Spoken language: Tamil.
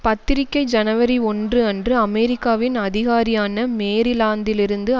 பத்திரிகை ஜனவரி ஒன்று அன்று அமெரிக்காவின் அதிகாரியான மேரிலாந்திலிருந்து